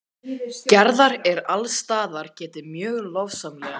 Gerðar er alls staðar getið mjög lofsamlega.